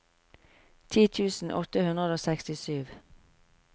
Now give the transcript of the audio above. ti tusen åtte hundre og sekstisju